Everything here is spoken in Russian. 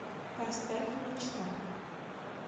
поставь мечта